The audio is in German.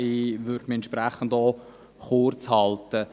Ich werde mich auch entsprechend kurzhalten.